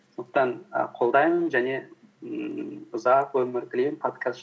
сондықтан і қолдаймын және ііі ұзақ өмір тілеймін подкаст